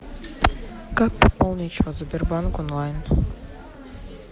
как пополнить счет сбербанк онлайн